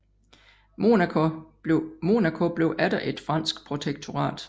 Monaco blev atter et fransk protektorat